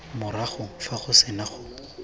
morago fa go sena go